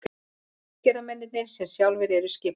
Útgerðarmenn sem sjálfir eru skipverjar.